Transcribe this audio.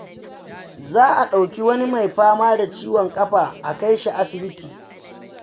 Za a ɗauki wani mai fama da ciwon kafa a kai shi asibiti.